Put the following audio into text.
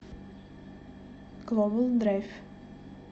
глобалдрайв